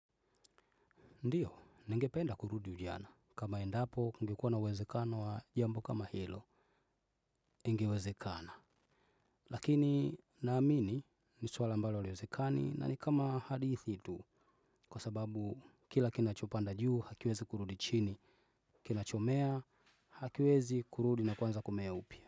Ndiyo, ningependa kurudi ujana. Kama endapo, kungekuwa na uwezekano wa jambo kama hilo, ingewezekana. Lakini, naamini, niswala ambalo halwezekani, na nikama hadithi idu. Kwa sababu, kila kinachopanda juu, hakiwezi kurudi chini. Kinachomea, hakiwezi kurudi na kuanza kumea upia.